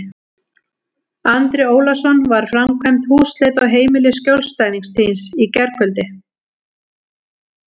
Andri Ólafsson: Var framkvæmd húsleit á heimili skjólstæðings þíns í gærkvöldi?